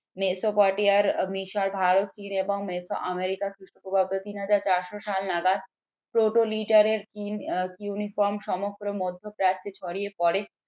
মেসোপটে আর মিশর ভারত চীন এবং মেসো আমেরিকা খ্রিস্টপূর্বাব্দ তিন হাজার চারশো সাল নাগাদ সমগ্র মধ্যপ্রাচ্যে ছড়িয়ে পড়ে